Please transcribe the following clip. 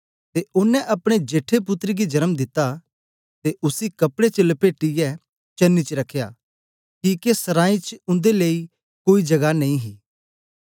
ते ओनें अपने जेठे पुत्तर गी जन्म दिता ते उसी कपड़े च लपेटियै चरनी च रखया किके सरांई च उन्दे लेई कोई जगह नेई ही